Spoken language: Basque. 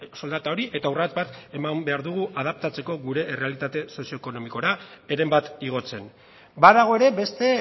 soldata hori eta urrats bat eman behar dugu adaptatzeko gure errealitate sozioekonomikora heren bat igotzen badago ere beste